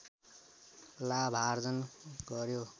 लाभार्जन गर्‍यो